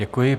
Děkuji.